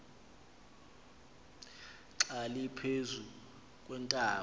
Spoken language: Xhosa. xa liphezu kweentaba